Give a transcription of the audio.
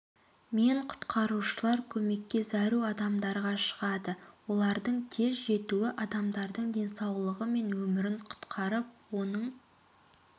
мен құтқарушылар көмекке зәру адамдарға шығады олардың тез жетуі адамдардың денсаулығы мен өмірін құтқарып оның